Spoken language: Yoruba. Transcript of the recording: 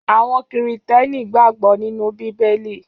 Àwọn Kìrìtẹ́ẹ́nì gbàgbọ́ nínú Bíbélì.